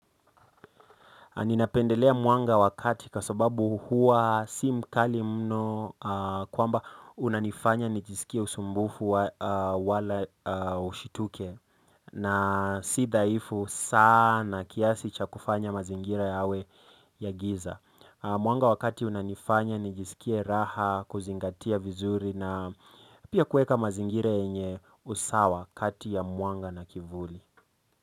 Ninapendelea mwanga wa kati kwa sababu huwa si mkali mno kwamba unanifanya nijisikie usumbufu wala hushituki na si dhaifu sana kiasi cha kufanya mazingira yawe ya giza. Mwanga wa kati unanifanya nijisikie raha kuzingatia vizuri na pia kuweka mazingira yenye usawa kati ya mwanga na kivuli.